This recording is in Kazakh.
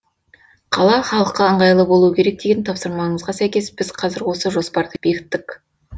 қала халыққа ыңғайлы болуы керек деген тапсырмаңызға сәйкес біз қазір осы жоспарды бекіттік